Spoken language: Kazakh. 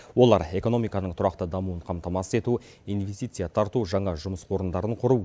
олар экономиканың тұрақты дамуын қамтамасыз ету инвестиция тарту жаңа жұмыс орындарын құру